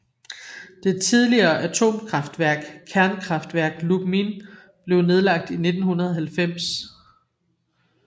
Det tidligere atomkraftværk Kernkraftwerk Lubmin blev nedlagt i 1990